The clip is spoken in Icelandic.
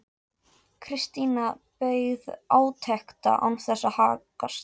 Christian beið átekta án þess að haggast.